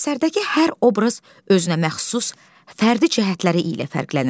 Əsərdəki hər obraz özünəməxsus fərdi cəhətləri ilə fərqlənir.